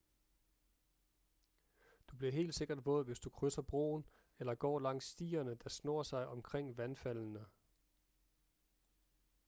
du bliver helt sikkert våd hvis du krydser broen eller går langs stierne der snor sig omkring vandfaldene